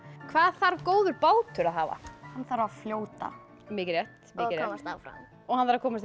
hvað þarf góður bátur að hafa hann þarf að fljóta mikið rétt og komast áfram og hann þarf að komast